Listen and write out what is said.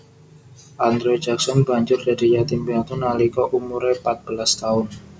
Andrew Jackson banjur dadi yatim piatu nalika umuré patbelas taun